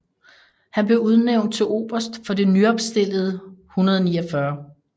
Han blev udnævnt til oberst for det nyopstillede 149